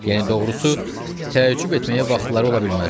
Yəni doğrusu, təəccüb etməyə vaxtları ola bilməzdi.